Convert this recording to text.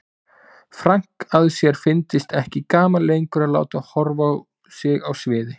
Frank að sér fyndist ekki gaman lengur að láta horfa á sig á sviði.